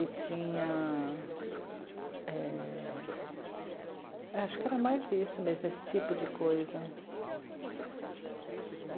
E tinha... é, Acho que era mais isso mesmo, esse tipo de coisa.